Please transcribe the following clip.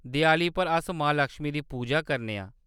देआली पर अस मां लक्ष्मी दी पूजा करने आं।